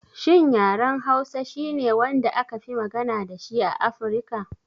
Shin yaren Hausa shine wanda akafi magana dashi a Afirka?